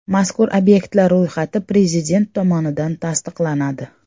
Mazkur obyektlar ro‘yxati Prezident tomonidan tasdiqlanadi.